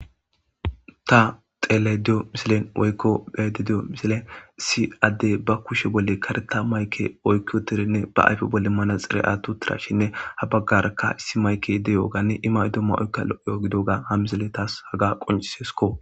Ta xelediyo misilen woykko bheede diyo misile issi addey ba kushe bolle kareta mayke oykkioterinne ba ayfe bolle manaxire atu tirashinne ha baggaraka issi mayke deyoganne imay domma oykka lo'yo gidoga ha misile taas haga qoncisesko.